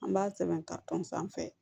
An b'a sɛbɛn ka tɔn sanfɛ